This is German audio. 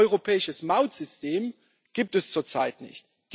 Ein europäisches Mautsystem gibt es zurzeit nicht.